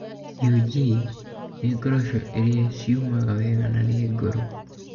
UG nĩ ngoroco iria ciumaga wega na nĩ ngũrũ.